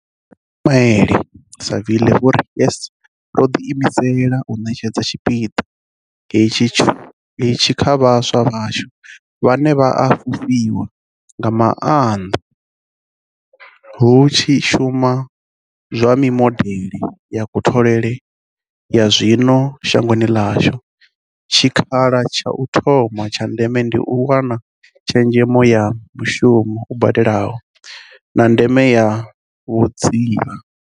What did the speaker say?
Vho Ismail-Saville vho ri YES, yo ḓiimisela u ṋetshedza tshipiḓa hetsho kha vhaswa vhashu, vhane vha a fhufhiwa nga maanḓa hu tshi shumi swa mimodeḽe ya kutholele ya zwino shangoni ḽashu, tshikha la tsha u thoma tsha ndeme ndi u wana tshezhemo ya mushumo u badelaho, na ndeme ya vhudzivha.